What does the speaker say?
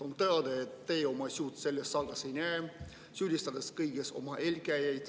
On teada, et teie oma süüd selles saagas ei näe, süüdistate kõiges oma eelkäijaid.